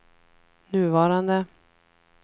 nuvarande